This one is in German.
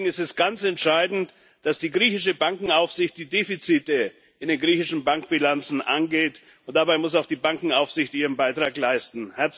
Deswegen ist es ganz entscheidend, dass die griechische Bankenaufsicht die Defizite in den griechischen Bankbilanzen angeht, und dabei muss auch die Bankenaufsicht ihren Beitrag leisten.